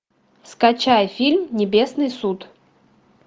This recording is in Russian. скачай фильм небесный суд